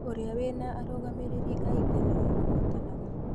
ũrĩa wĩna arũmĩrĩri aingĩ nĩwe ũhotanaga